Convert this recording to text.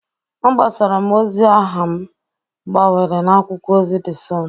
Agbasara m ozi aha m gbawere n'akwụkwọ ozi De Sọn.